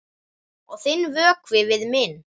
Og þinn vökvi við minn.